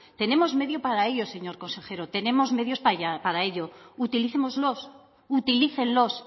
tenemos medios para ello señor consejero tenemos medios para ello utilicémoslos utilícenlos